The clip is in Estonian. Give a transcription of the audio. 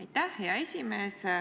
Aitäh, hea esimees!